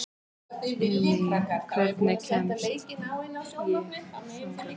Irmý, hvernig kemst ég þangað?